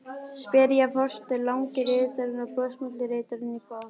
spyrja forsetinn, langi ritarinn og brosmildi ritarinn í kór.